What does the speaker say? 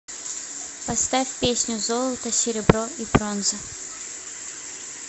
поставь песню золото серебро и бронза